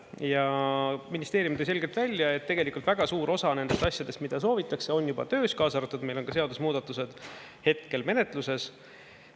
Ja ministeerium tõi selgelt välja, et tegelikult väga suur osa nendest asjadest, mida soovitakse, on juba töös, kaasa arvatud meil on ka seadusemuudatused hetkel menetluses.